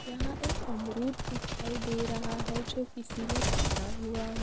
यहाँ एक अमरूद दिखाई दे रहा है जो किसी ने पकड़ा हुआ है।